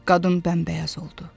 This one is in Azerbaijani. Qadın bəmbəyaz oldu.